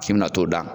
K'i bɛna t'o da